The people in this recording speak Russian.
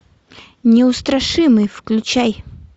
неустрашимый включай